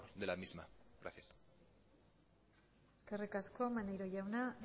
de la misma gracias eskerrik asko maneiro jauna